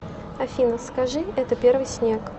афина скажи это первый снег